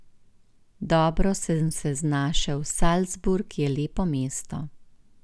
Dobro sem se znašel, Salzburg je lepo mesto.